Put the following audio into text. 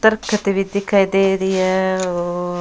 दरखत भी दिखाई दे रही है और --